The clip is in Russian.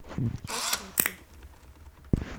час рыси